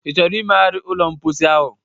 Ị chọrọ imegharị ụlọ mposi ahụ?